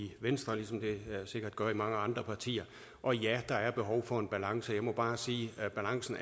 i venstre ligesom det sikkert gør i mange andre partier og ja der er behov for en balance jeg må bare sige at balancen